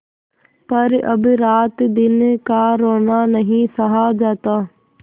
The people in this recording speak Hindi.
पर अब रातदिन का रोना नहीं सहा जाता